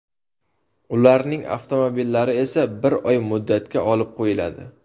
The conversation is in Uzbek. Ularning avtomobillari esa bir oy muddatga olib qo‘yiladi.